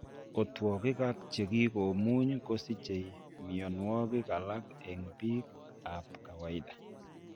Otwogik ak chekikomuuny kosiche mionwokik alak eng' biik ab kawaida